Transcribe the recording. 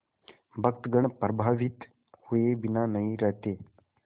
भक्तगण प्रभावित हुए बिना नहीं रहते